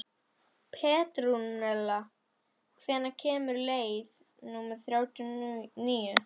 Petrúnella, hvenær kemur leið númer þrjátíu og níu?